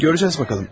Görəcəksən bakalım.